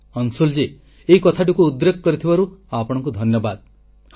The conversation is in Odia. ଅଂଶୁଳଜୀ ଏଇ କଥାଟିକୁ ଉଦ୍ରେକ କରିଥିବାରୁ ଆପଣଙ୍କୁ ଧନ୍ୟବାଦ